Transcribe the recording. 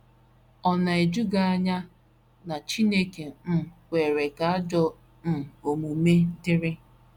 Ọ̀ na - eju gị anya na Chineke um kwere ka ajọ um omume dịrị?